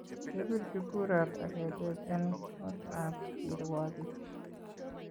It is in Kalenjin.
Kepirchi kuraat ak keteech en kootab kirwakik